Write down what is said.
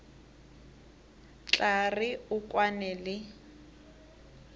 tla re o kwane le